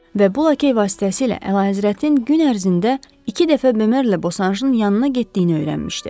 Və bu lakey vasitəsilə Əlahəzrətin gün ərzində iki dəfə Bomerlə Bosanjın yanına getdiyini öyrənmişdi.